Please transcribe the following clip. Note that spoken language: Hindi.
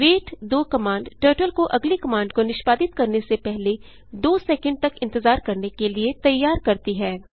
वेट 2 कमांड टर्टल को अगली कमांड को निष्पादित करने से पहले 2 सैकंड तक इंतजार करने के लिए तैयार करती है